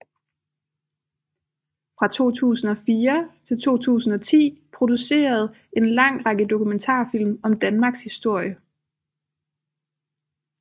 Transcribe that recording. Fra 2004 til 2010 produceret en lang række dokumentarfilm om Danmarks historie